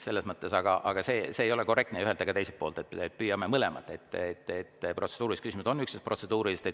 Aga see ei ole korrektne ei ühelt ega teiselt poolt, nii et püüame mõlemad, et protseduurilised küsimused on üksnes protseduurilised.